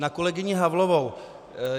Na kolegyni Havlovou.